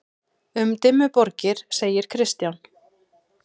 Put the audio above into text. Um Dimmuborgir segir Kristján: